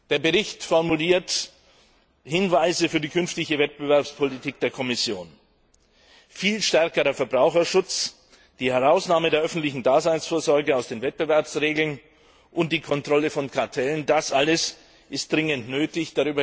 Der Bericht formuliert Hinweise für die künftige Wettbewerbspolitik der Kommission. Viel stärkerer Verbraucherschutz, die Herausnahme der öffentlichen Daseinsvorsorge aus den Wettbewerbsregeln und die Kontrolle von Kartellen das alles ist dringend nötig.